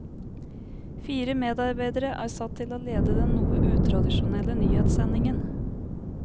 Fire medarbeidere er satt til å lede den noe utradisjonelle nyhetssendingen.